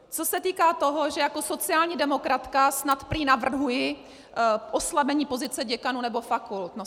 Co se týká toho, že jako sociální demokratka snad prý navrhuji oslabení pozice děkanů nebo fakult.